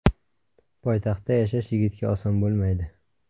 Poytaxtda yashash yigitga oson bo‘lmaydi.